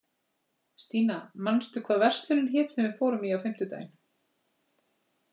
Stína, manstu hvað verslunin hét sem við fórum í á fimmtudaginn?